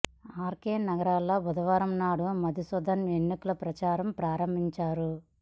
are K Nagar లో బుదవారం నాడు మధుసూధన్ ఎన్నికల ప్రచారాన్ని ప్రారంభించారు